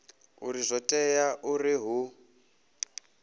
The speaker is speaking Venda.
uri zwo tea uri hu